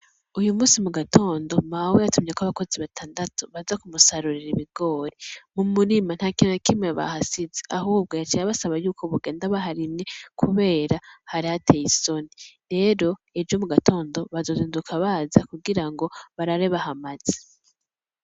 Uyu musi mu gatondo mawe yatumyeko abakozi batandatu baza kumusarurira ibigori mu murima, ntakintu nakimye bahasize ahubwo yaciye abasaba yuko bogenda baharimye kubera harihateye isoni. Rero ejo mu gatondo bazozinduka baze kugira ngo barare bahamaze.